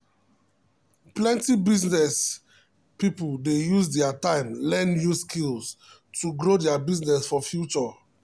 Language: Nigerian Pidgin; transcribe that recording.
plenty business people dey use their time learn new skills to grow their business for future.